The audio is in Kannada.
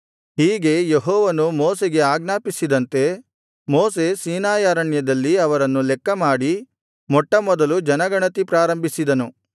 ಹೀಗೆ ಯೆಹೋವನು ಮೋಶೆಗೆ ಆಜ್ಞಾಪಿಸಿದಂತೆ ಮೋಶೆ ಸೀನಾಯಿ ಅರಣ್ಯದಲ್ಲಿ ಅವರನ್ನು ಲೆಕ್ಕಮಾಡಿ ಮೊಟ್ಟಮೊದಲು ಜನಗಣತಿ ಪ್ರಾರಂಭಿಸಿದನು